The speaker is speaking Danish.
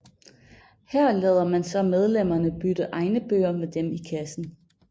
Her lader man så medlemmerne bytte egne bøger med dem i kassen